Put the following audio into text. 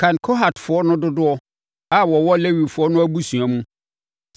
“Kan Kohatfoɔ no dodoɔ a wɔwɔ Lewifoɔ no abusua mu.